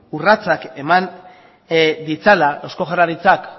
urratsak eman ditzala eusko jaurlaritzak